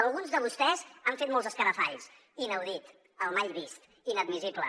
alguns de vostès han fet molts escarafalls inaudit el mai vist inadmissible